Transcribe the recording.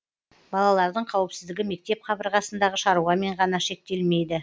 балалардың қауіпсіздігі мектеп қабырғасындағы шаруамен ғана шектелмейді